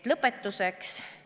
Lõpetuseks.